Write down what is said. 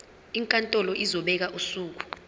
inkantolo izobeka usuku